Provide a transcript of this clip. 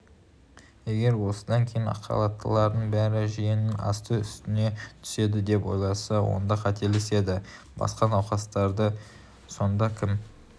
егер осыдан кейін ақхалаттылардың бәрі жиенінің асты-үстіне түседі деп ойласа онда қателеседі басқа науқастарды сонда кім